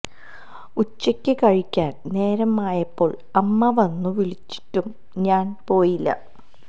ഉച്ചക്ക് കഴിക്കാൻ നേരമായപ്പോൾ അമ്മ വന്നു വിളിച്ചിട്ടും ഞാൻ പോയില്ല